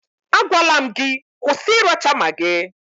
Agwala m gị, kwụsị ịracha magị!